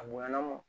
A bonyana o